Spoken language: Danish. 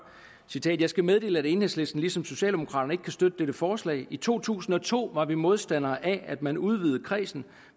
jeg skal meddele at enhedslisten ligesom socialdemokraterne ikke kan støtte dette forslag i to tusind og to var vi modstandere af at man udvidede kredsen